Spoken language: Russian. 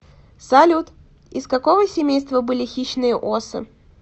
салют из какого семейства были хищные осы